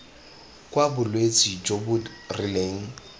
kwa bolwetse jo bo rileng